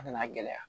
A nana gɛlɛya